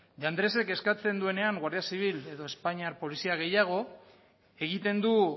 de andresek eskatzen duenean guardia zibil edo espainiar polizia gehiago egiten du